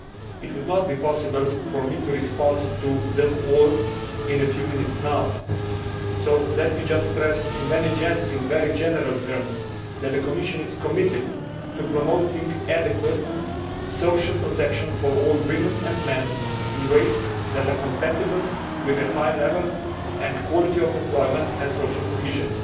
It would not be possible for me to respond to them all in a few minutes now, so let me just stress in very general terms that the Commission is committed to promoting adequate social protection for all women and men in ways that are compatible with a high level and quality of employment and social cohesion.